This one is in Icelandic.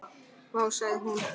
Vá, sagði hún.